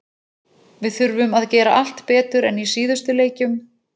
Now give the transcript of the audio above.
Við þurfum að gera allt betur en í síðustu leikjum.